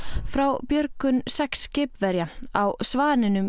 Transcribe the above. frá björgun sex skipverja á Svaninum